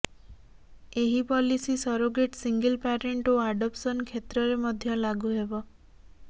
ଏହି policy surrogate single parent ଓ adoption କ୍ଷେତ୍ରରେ ମଧ୍ୟ ଲାଗୁ ହେବ